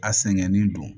A sɛgɛnnen don